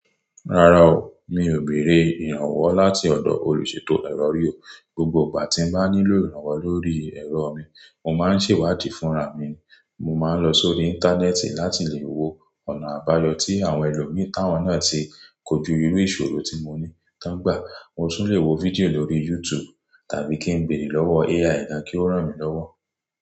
Rárá o, mi ò béèrè ìrànwọ́ láti ọ̀dọ̀ olùṣètò ẹ̀rọ riò, gbogbo ìgbà tí n bá nílò ìrànwọ́ lórí ẹ̀rọ mi, mo máa ń ṣèwádìí fúnra mi, mo máa ń lọ sórí Íńtánẹ́ẹ̀tì láti le wo ọ̀nà àbáyọ tí àwọn ẹlòmíràn tí wọn náà ti kojú irú ìṣòro tí mo ní tán gbà. Mo tún le wo fídíò lórí YouTube tàbí kí n béèrè lọ́wọ́ AI gán kí ó ràn mí lọ́wọ́